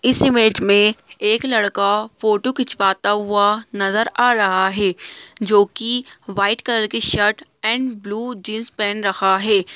इस इमेज मे एक लड़का फोटो खिचवाता हुआ नजर आ रहा है जो की व्हाइट कलर की शर्ट एंड ब्लू जीन्स पहन रखा है।